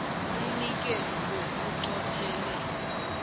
umnikelo lo uqothele